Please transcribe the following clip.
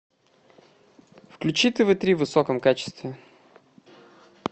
включи тв три в высоком качестве